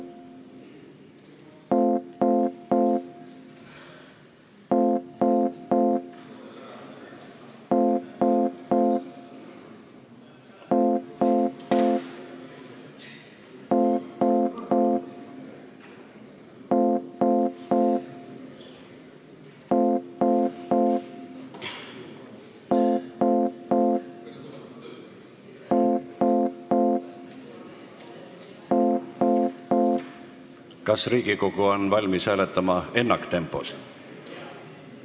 Kas Riigikogu on valmis hääletama ennaktempos?